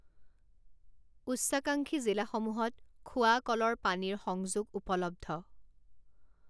উচ্চাকাংক্ষী জিলাসমূহত খোৱা কলৰ পানীৰ সংযোগউপলব্ধ